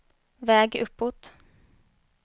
väg uppåt